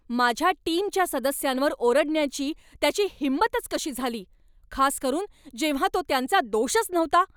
माझ्या टीमच्या सदस्यांवर ओरडण्याची त्याची हिंमतच कशी झाली, खासकरून जेव्हा तो त्यांचा दोषच नव्हता!